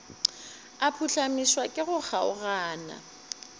a phuhlamišwa ke go kgaogana